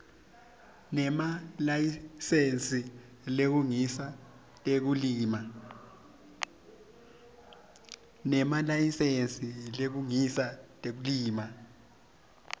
nemalayisensi kulungisa tekulima